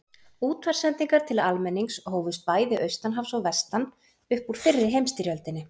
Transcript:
Útvarpssendingar til almennings hófust bæði austan hafs og vestan upp úr fyrri heimsstyrjöldinni.